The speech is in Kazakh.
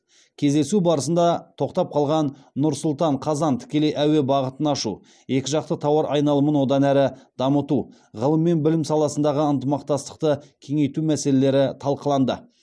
кездесу барысында тоқтап қалған нұр сұлтан қазан тікелей әуе бағытын ашу екі жақты тауар айналымын одан әрі дамыту ғылым мен білім саласындағы ынтымақтастықты кеңейту мәселелері талқыланды